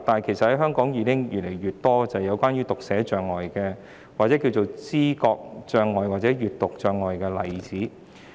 其實，香港有越來越多患有讀寫障礙、知覺障礙或閱讀障礙的人士。